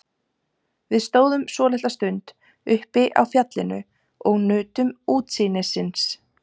Við stóðum svolitla stund uppi á fjallinu og nutum útsýnisins.